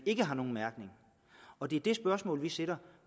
ikke har nogen mærkning og det er det spørgsmål vi stiller